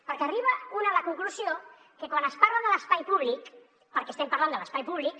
perquè arriba un a la conclusió que quan es parla de l’espai públic perquè estem parlant de l’espai públic